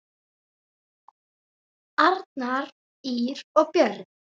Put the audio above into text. Arnar, Ýr og börn.